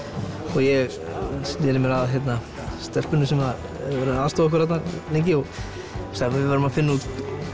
og ég sneri mér að stelpunni sem hefur verið að aðstoða okkur þarna lengi og sagði að við yrðum að finna út